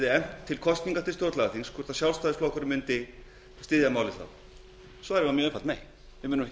efnt til kosninga til stjórnlagaþings svarið var mjög einfalt nei við munum